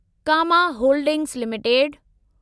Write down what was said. comma holdings limited